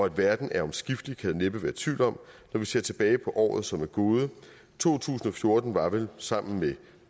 at verden er omskiftelig kan der næppe være tvivl om når vi ser tilbage på året som er gået to tusind og fjorten var vel sammen med